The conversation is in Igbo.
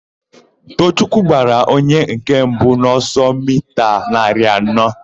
Toochukwu gbara onye nke mbụ n'ọsọ mita narị anọ.